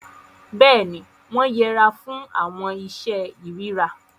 Béèni, wọn yẹra fún awọn iṣe irira